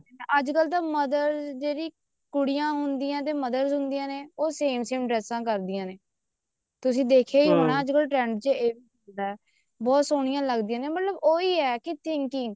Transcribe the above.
ਅੱਜਕਲ ਤਾਂ mothers ਜਿਹੜੀ ਕੁੜੀਆਂ ਹੁੰਦੀਆਂ ਤੇ mothers ਹੁੰਦੀਆਂ ਨੇ same same ਡ੍ਰੇਸਾਂ ਕਰਦੀਆਂ ਨੇ ਤੁਸੀਂ ਦੇਖਿਆ ਹੀ ਹੋਣਾ ਹੋਣਾ ਅੱਜਕਲ trend ਚ ਬਹੁਤ ਸੋਹਣੀਆ ਲੱਗਦੀਆਂ ਵੀ ਉਹੀ ਹੈ thinking